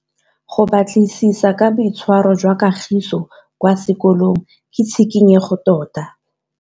Go batlisisa ka boitshwaro jwa Kagiso kwa sekolong ke tshikinyêgô tota.